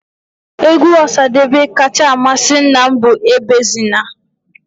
Égwú Osadebe kacha amasị nna m bụ Ebezina.